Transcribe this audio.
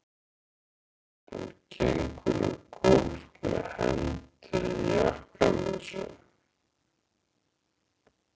Hann gengur um gólf með hendur í jakkavösunum.